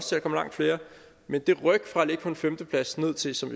der kom langt færre men det ryk fra at ligge på en femteplads ned til som